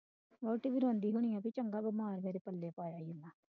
ਵਹੁਟੀ ਵੀ ਰੋਂਦੀ ਹੋਣੀ ਆ ਕਿ ਚੰਗਾ ਬਿਮਾਰ ਮੇਰੇ ਪੱਲੇ ਪੈ ਗਿਆ।